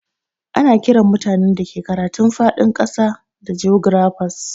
Ana Kiran mutanen da ke karatun fadin kasa da jografas.